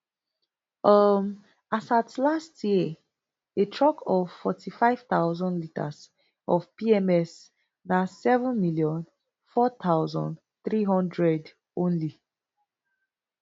um as at last year a truck of forty-five thousand litres of pms na seven million four thousand, three hundred only